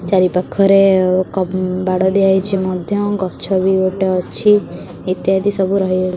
ଚାରିପାଖରେ ଏକ ବାଡ଼ ଦିଆଯାଇଛି ମଧ୍ୟ ଗଛ ବି ଗୋଟେ ଅଛି ଇତ୍ୟାଦି ସବୁ ରହି --